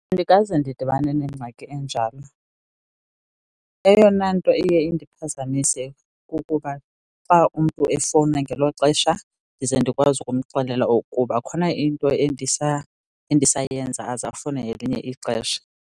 Andikaze ndidibane nengxaki enjalo. Eyona nto iye indiphazamise kukuba xa umntu efowuna ngelo xesha ndize ndikwazi ukumxelela okuba khona into endisayenza, aze afowune ngelinye ixesha.